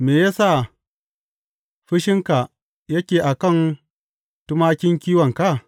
Me ya sa fushinka yake a kan tumakin kiwonka?